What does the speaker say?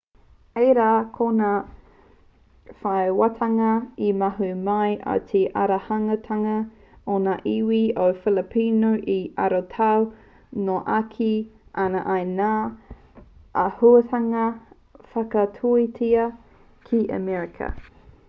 āe rā ko ngā whairawatanga e ahu mai ana i te aruarutanga o ngā iwi o filipino e arotau noa ake ana i ngā āhuatanga whakatuatea ki amerika